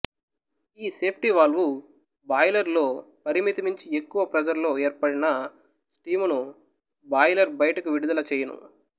ఈ సేఫ్టివాల్వు బాయిలరులో పరిమితి మించి ఎక్కువ ప్రెసరులో ఏర్పడిన స్టీమును బాయిలరు బయటకు విడుదల చెయ్యును